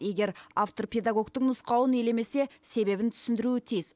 егер автор педагогтың нұсқауын елемесе себебін түсіндіруі тиіс